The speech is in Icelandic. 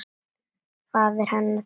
Faðir hennar tekur undir.